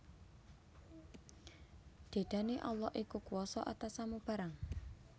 Dedane Allah iku kuwasa atas samu barang